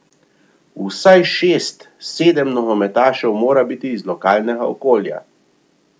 Vsaj šest, sedem nogometašev mora biti iz lokalnega okolja.